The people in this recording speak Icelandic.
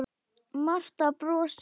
Marta brosir.